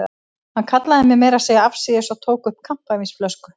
Hann kallaði mig meira að segja afsíðis og tók upp kampavínsflösku.